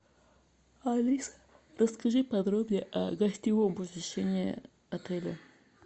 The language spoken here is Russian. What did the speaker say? алиса расскажи подробнее о гостевом посещении отеля